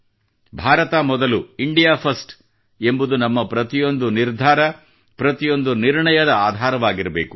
ಭಾರತ ಮೊದಲು India first ಎಂಬುದು ನಮ್ಮ ಪ್ರತಿಯೊಂದು ನಿರ್ಧಾರ ಪ್ರತಿಯೊಂದು ನಿರ್ಣಯದ ಆಧಾರವಾಗಿರಬೇಕು